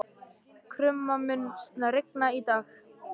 Krumma, mun rigna í dag?